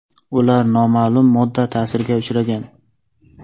Ular noma’lum modda ta’siriga uchragan.